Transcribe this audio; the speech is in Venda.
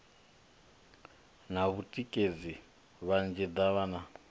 na vhatikedzi vhanzhi davhana u